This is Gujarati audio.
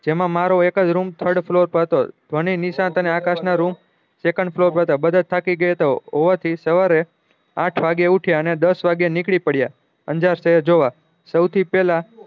જેમાં મારો એક જ રૂમ third floor પર હતો ધ્વની નિશાંત ને આકાશ ના રૂમ second floor મા હતા બધ થાકી ગયા હોવા હતી સવારે આઠ વાગે ઉઠ્યા ને દસ વાગે નીકળી પડ્યા અંજાર સેહેર જોવા સૌ થી પેહલા